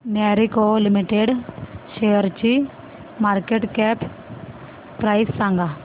Marico Limited शेअरची market cap price सांगा